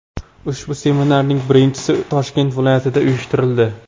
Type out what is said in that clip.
Ushbu seminarning birinchisi Toshkent viloyatida uyushtirildi.